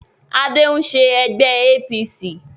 Adé ń ṣe ẹgbẹ́ APC